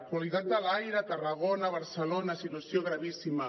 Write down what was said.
qualitat de l’aire a tarragona a barcelona situació gravíssima